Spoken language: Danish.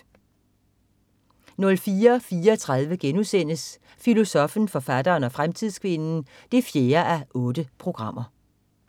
04.34 Filosoffen, forfatteren og fremtidskvinden 4:8*